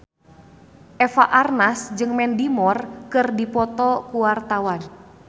Eva Arnaz jeung Mandy Moore keur dipoto ku wartawan